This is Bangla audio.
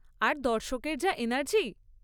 আর দর্শকদের যা এনার্জি!